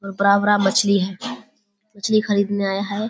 बड़ा बड़ा मछली हैं मछली खरीदने आये हैं।